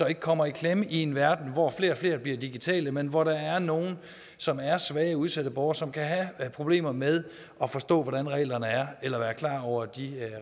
ikke kommer i klemme i en verden hvor flere og flere bliver digitale men hvor der er nogle som er svage udsatte borgere som kan have problemer med at forstå hvordan reglerne er eller ikke er klar over de